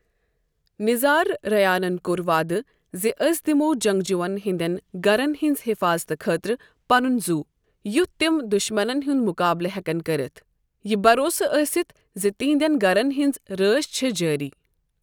نِظار رَیانن کوٚر وعدٕ زِ، 'أسۍ دِموٚ جنٛگجوٗون ہِنٛدِن گَرن ہِنٛزِ حِفاظتہٕ خٲطرٕ پنُن زُو، یُتھ تِم دُشمَنن ہُنٛد مُقابلہٕ ہٮ۪کن کٔرِتھ، یہِ بَروسہٕ ٲسِتھ زِ تِہنٛدیٚن گَرن ہِنٛز رٲچھ چھےٚ جٲری۔